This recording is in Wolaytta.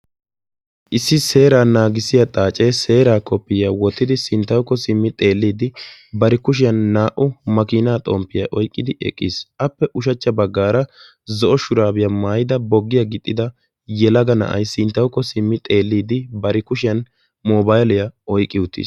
Issi seeraa naagissiyaa xaacee seeraa kopiyiyaa wottidi sinttawukko simmi xeellidi bari kushshiyan naa"u maakinaa xomppiyaa oyqqidi eqqiis. appe ushshachcha baggaara zo'o shuraabiyaa maayida boggiyaa gixxida na'ay sinttawukko simmi xeellidi bari kushiyaan mobayliyaa oyqqi uttiis.